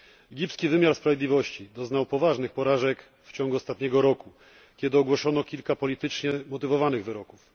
Egipski wymiar sprawiedliwości doznał poważnych porażek w ciągu ostatniego roku, kiedy ogłoszono kilka politycznie umotywowanych wyroków.